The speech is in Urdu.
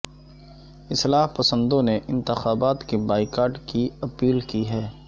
اصلاح پسندوں نےانتخابات کے بائیکاٹ کی اپیل کی ہے